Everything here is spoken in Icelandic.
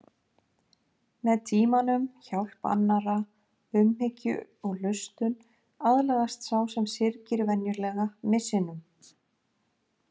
Með tímanum, hjálp annarra, umhyggju og hlustun aðlagast sá sem syrgir venjulega missinum.